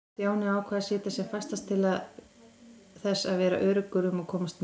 Stjáni ákvað að sitja sem fastast til þess að vera öruggur um að komast með.